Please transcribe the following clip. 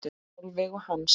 Sólveig og Hans.